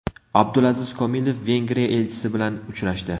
Abdulaziz Kamilov Vengriya elchisi bilan uchrashdi.